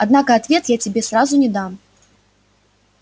однако ответ я тебе сразу не дам